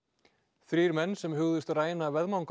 þrír menn sem hugðust ræna